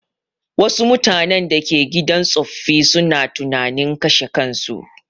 Wassu mutanen da ke gidan tsoffi suna tunanin kashe kansu